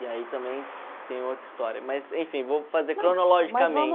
E aí também tem outra história, mas enfim, vou fazer